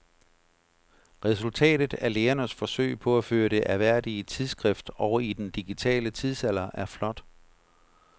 Resultatet af lægernes forsøg på at føre det ærværdige tidsskrift over i den digitale tidsalder er flot.